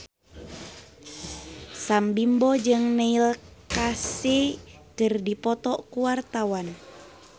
Sam Bimbo jeung Neil Casey keur dipoto ku wartawan